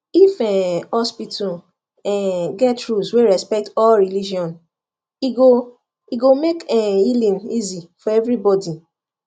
if um hospital um get rules wey respect all religion e go e go make um healing easy for everybody